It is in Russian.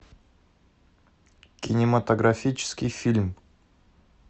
кинематографический фильм